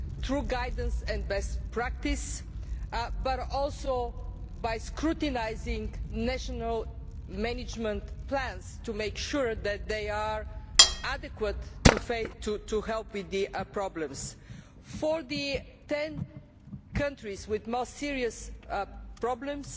Through guidance and best practice, but also by scrutinising national management plans to make sure that they are adequate in helping with the problems. For the ten countries with more serious problems,